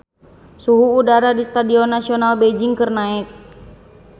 Suhu udara di Stadion Nasional Beijing keur naek